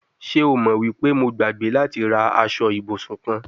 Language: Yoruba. Ṣe o mo wi pe Mo gbagbe lati ra aṣọ ibusun kan